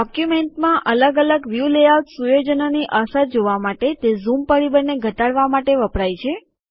ડોક્યુમેન્ટમાં અલગ અલગ વ્યુ લેઆઉટ સુયોજનોની અસરો જોવા માટે તે ઝૂમ પરિબળને ઘટાડવા માટે વપરાય છે